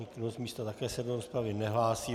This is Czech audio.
Nikdo z místa se také do rozpravy nehlásí.